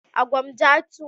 A Gwamja 2.